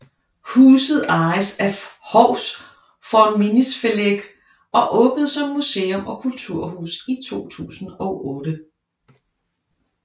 Huset ejes af Hovs Fornminnisfelag og åbnede som museum og kulturhus i 2008